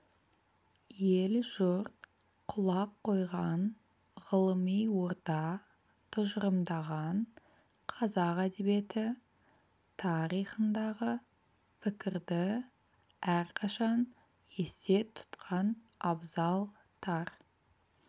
ел-жұрт құлақ қойған ғылыми орта тұжырымдаған қазақ әдебиеті тарихындағы пікірді әрқашан есте тұтқан абзал тар